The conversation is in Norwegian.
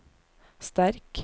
sterk